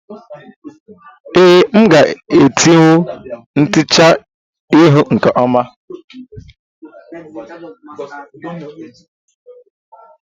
Ee, nga etewu ntecha ihu nke ọma